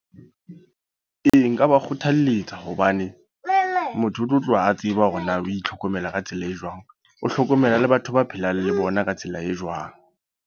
Ee, nka ba kgothaletsa. Hobane motho o tlo tloha a tseba hore na o itlhokomela ka tsela e jwang. O hlokomela le batho ba phelang le bona ka tsela e jwang.